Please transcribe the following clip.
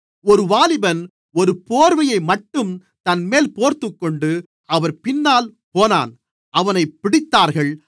ஒரு வாலிபன் ஒரு போர்வையைமட்டும் தன்மேல் போர்த்துக்கொண்டு அவர் பின்னால் போனான் அவனைப் பிடித்தார்கள்